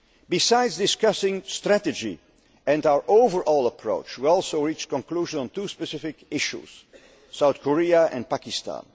Balkans. Besides discussing strategy and our overall approach, we also reached a conclusion on two specific issues South Korea and Pakistan.